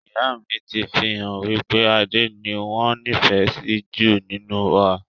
Ìyá mi ti fi hàn wípé Adé ni wọn nifẹ si ju nínú wa